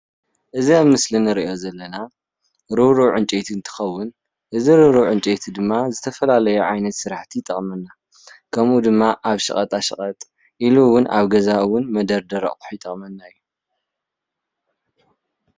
እዚ ኣብ ምስሊ እንሪኦ ዘለና ርብሩብ ዕንጨይቲ እንትከውን እዚ ርብሩብ ዕንጨይቲ ድማ ዝተፈላለዩ ዓይነት ስራሕቲ ይጠቅመና፤ ከምኡ ድማ ኣብ ሸቀጣ ሸቀጥ ኢሉ እውን ኣብ ገዛ እውን መደርደሪ ኣቅሑ ይጠቅመና እዩ፡፡